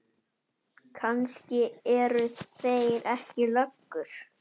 Kannski eru þeir ekki löggur.